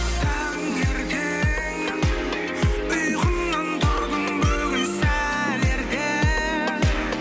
таңертең ұйқымнан тұрдым бүгін сәл ерте